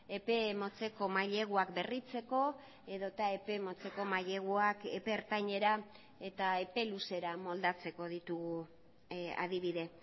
epe motzeko maileguak berritzeko edota epe motzeko maileguak epe ertainera eta epe luzera moldatzeko ditugu adibide